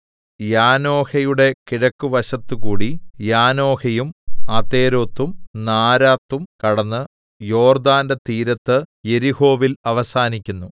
യാനോഹയുടെ കിഴക്ക് വശത്ത് കൂടി യാനോഹയും അതെരോത്തും നാരാത്തും കടന്ന് യോർദ്ദാന്റെ തീരത്ത് യെരിഹോവിൽ അവസാനിക്കുന്നു